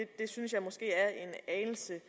det synes jeg måske er en anelse